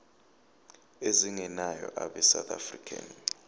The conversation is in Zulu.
ezingenayo abesouth african